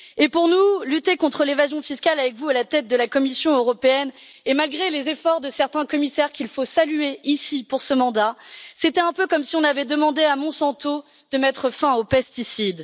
Pour nous, lutter contre l'évasion fiscale avec vous à la tête de la Commission européenne et malgré les efforts de certains commissaires, qu'il faut saluer ici pour ce mandat, c'était un peu comme si on avait demandé à Monsanto de mettre fin aux pesticides.